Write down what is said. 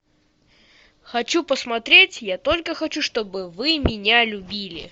хочу посмотреть я только хочу чтобы вы меня любили